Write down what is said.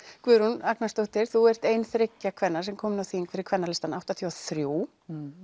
Guðrún Agnarsdóttir þú ert ein þriggja kvenna sem kom inn á þing fyrir Kvennalistann áttatíu og þrjú